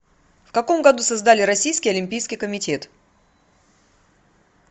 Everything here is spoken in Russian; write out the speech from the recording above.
в каком году создали российский олимпийский комитет